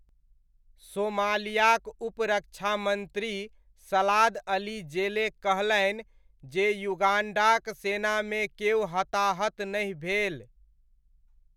सोमालियाक उप रक्षामन्त्री Salad Ali Jelle कहलनि जे युगाण्डाक सेनामे केओ हताहत नहि भेल।